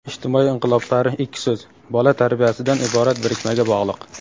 ijtimoiy inqiloblari ikki so‘z - "bola tarbiyasi"dan iborat birikmaga bog‘liq.